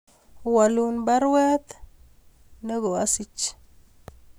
Walun baruet nego asich